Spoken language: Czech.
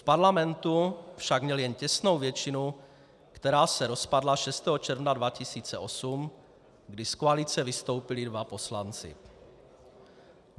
V parlamentu však měl jen těsnou většinu, která se rozpadla 6. června 2008, kdy z koalice vystoupili dva poslanci.